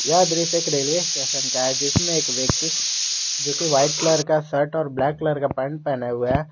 यह दृश्य एक रेलवे स्टेशन का है जिसमें एक व्यक्ति जो कि व्हाइट कलर का शर्ट और ब्लैक कलर का पैंट पहने हुए है।